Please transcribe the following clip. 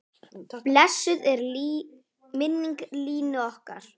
Blessuð sé minning Línu okkar.